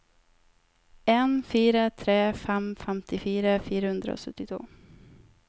en fire tre fem femtifire fire hundre og syttito